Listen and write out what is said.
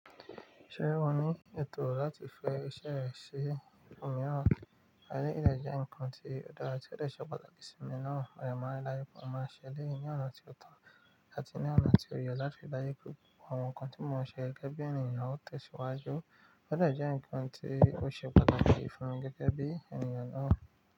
Ṣé wọn ní ètò láti fẹ iṣẹ́ rẹ̀ sí omiràn, eleyi de jẹ́ ǹkan tí ó dára tí ó dè ṣẹ pàtàkì sí èmi náà, mo de ma n ri daju pe, ó máa ṣẹ eleyii na ní ọ̀nà tí ó tọ́ àti ní ọ̀nà tí ó yẹ láti ri daju pe àwọn ǹkan tí mo n se gẹ́gẹ́ bí ènìyàn o te siwàjuù, ó dè jẹ́ ǹkan tí ó ṣe pàtàkì fún gẹ́gẹ́ bí ènìyàn náà.